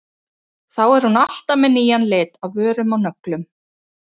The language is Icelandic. Þá er hún alltaf með nýjan lit á vörum og nöglum.